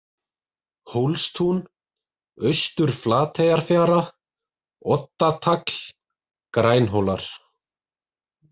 Hólstún, Austur-Flateyjarfjara, Oddatagl, Grænhólar